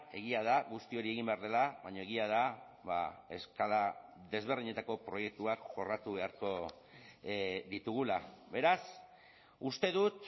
egia da guzti hori egin behar dela baina egia da eskala desberdinetako proiektuak jorratu beharko ditugula beraz uste dut